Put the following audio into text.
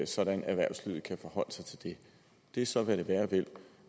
sådan at erhvervslivet kan forholde sig til det det er så hvad det være vil